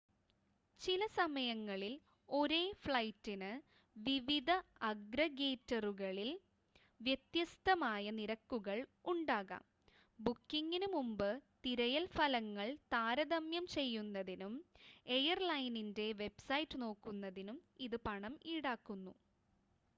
ചില സമയങ്ങളിൽ ഒരേ ഫ്ലൈറ്റിന് വിവിധ അഗ്രഗേറ്ററുകളിൽ വ്യത്യസ്‌തമായ നിരക്കുകൾ ഉണ്ടാകാം ബുക്കിംഗിന് മുമ്പ് തിരയൽ ഫലങ്ങൾ താരതമ്യം ചെയ്യുന്നതിനും എയർലൈനിൻ്റെ വെബ്‌സൈറ്റ് നോക്കുന്നതിനും ഇത് പണം ഈടാക്കുന്നു